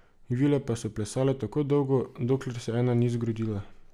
Vile pa so plesale tako dolgo, dokler se ena ni zgrudila.